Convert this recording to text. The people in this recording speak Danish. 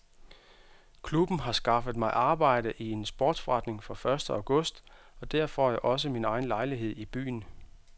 Klubben har skaffet mig arbejde i en sportsforretning fra første august og der får jeg også min egen lejlighed i byen.